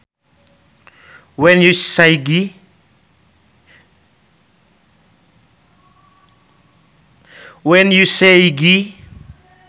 When you say Gee